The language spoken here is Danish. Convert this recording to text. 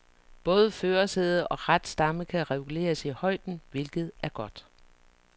Både førersæde og ratstamme kan reguleres i højden, hvilket er godt.